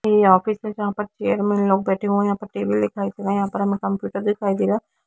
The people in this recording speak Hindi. ये ऑफिस है जहाँ पर चेयर में ये लोग बेठे हुए है यहाँ पे टेबल दिखाई दे रहा है यहाँ पर हमें कंप्यूटर दिखाई दे रहा है।